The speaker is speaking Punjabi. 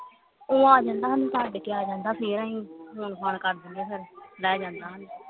ਉਹ ਆ ਜਾਂਦਾ ਸਾਨੂ ਛੱਡ ਕੇ ਆ ਜਾਂਦਾ ਫੇਰ ਆਈ ਫੋਨ ਫਾਨ ਕਰ ਦਿੰਦੇ ਫੇਰ ਲੈ ਜਾਂਦਾ ਸਾਨੂੰ